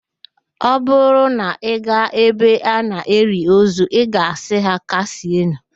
Ọ bụrụ na ị gaa ebe a na-eli ozu, ị ga-asị ha, "kasienụ"